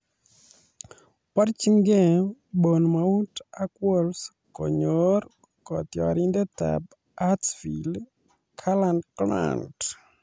Borjingei Bournemouth ak Wolves konyor kotiorindetab Huddersfield, Karlan Grant